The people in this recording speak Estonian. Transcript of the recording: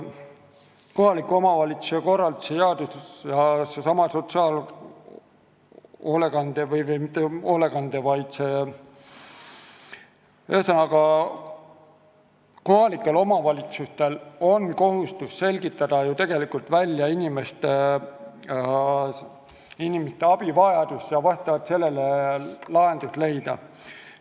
Kohaliku omavalitsuse korralduse seaduse järgi on kohalikel omavalitsustel kohustus selgitada välja inimeste abivajadus ja vastavalt sellele lahendus leida.